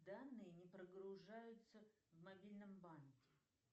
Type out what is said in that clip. данные не прогружаются в мобильном банке